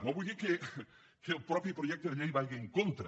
no vull dir que el mateix projecte de llei hi vagi en contra